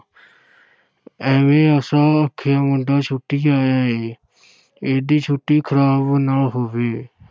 ਐਵੇਂ, ਅਸਾਂ ਆਖਿਆ ਮੁੰਡਾ ਛੁੱਟੀ ਆਇਆ ਹੈ ਇਹਦੀ ਛੁੱਟੀ ਖ਼ਰਾਬ ਨਾ ਹੋਵੇ।